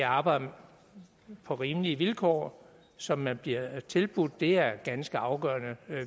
arbejde på rimelige vilkår som man bliver tilbudt det er ganske afgørende